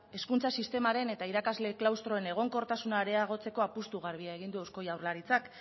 hezkuntza sistemaren eta irakasle klaustroen egonkortasuna areagotzeko apustu garbia egin du eusko jaurlaritzak